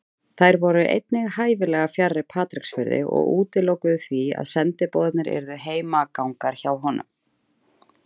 Þær voru einnig hæfilega fjarri Patreksfirði og útilokuðu því að sendiboðarnir yrðu heimagangar hjá honum.